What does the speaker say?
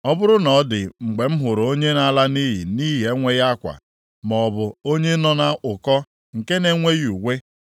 Ọ bụrụ na ọ dị mgbe m hụrụ onye na-ala nʼiyi nʼihi enweghị akwa, maọbụ onye nọ nʼụkọ nke na-enweghị uwe,